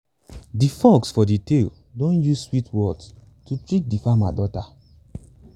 de fox for de tale don use sweet words to trick de farmer daughter